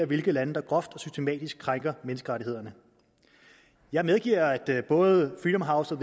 hvilke lande der groft og systematisk krænker menneskerettighederne jeg medgiver at både freedom house og